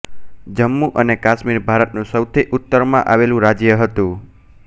જમ્મુ અને કાશ્મીર ભારતનું સૌથી ઉત્તરમાં આવેલ રાજ્ય હતું